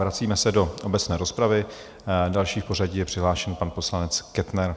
Vracíme se do obecné rozpravy, další v pořadí je přihlášen pan poslanec Kettner.